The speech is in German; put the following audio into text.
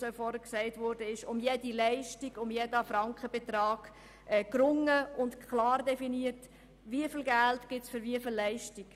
Wie schon erwähnt worden ist, wird um jede Leistung, um jeden Frankenbetrag gerungen und klar definiert, für welche Leistung es wieviel Geld gibt.